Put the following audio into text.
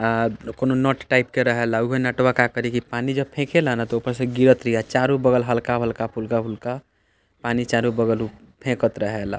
अ कोनो नट टाइप के रहेला उ भी नटवा का करी की पानी जब फेके ला न तो ऊपर से गिरत रहिया चारो बगल हल्का-हल्का फुल्का-फुल्का पानी चारो बगल उ फेकत रहेला।